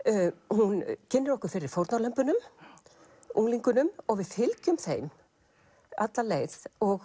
hún kynnir okkur fyrir fórnarlömbunum unglingunum og við fylgjum þeim alla leið og